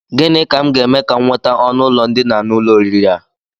Gịnị ka m ga-eme ka m nweta ọnụụlọ ndina n'ụlọ oriri a?